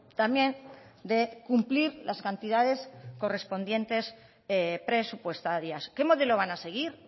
también de cumplir las cantidades correspondientes presupuestarias qué modelo van a seguir